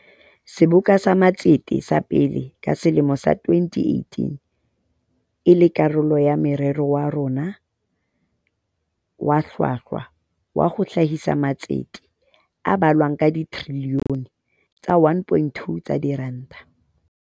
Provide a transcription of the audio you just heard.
Seboka sa Matsete sa pele ka selemo sa 2018 e le karolo ya morero wa rona o hlwahlwa wa ho hlahisa matsete a balwang ka trilione tse 1.2 tsa diranta.